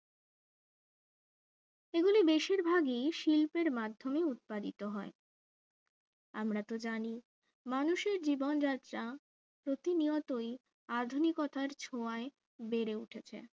এগুলো বেশিরভাগই শিল্পের মাধ্যমে উৎপাদিত হয় আমরা তো জানি মানুষের জীবনযাত্রা প্রতিনিয়তই আধুনিকতার ছোঁয়ায় বেড়ে উঠেছে